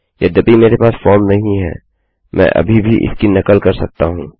यद्यपि मेरे पास फॉर्म नहीं है मैं अभी भी इसकी नकल कर सकता हूँ